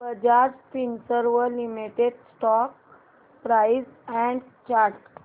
Bajaj Finserv limited stock price and chart